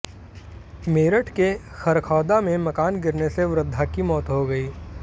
मेरठ के खरखौदा में मकान गिरने से वृद्धा की मौत हो गई